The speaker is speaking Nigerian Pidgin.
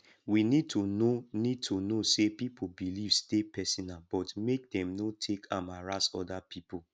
we need to know need to know sey pipo beliefs dey personal but make dem no take am harass oda pipo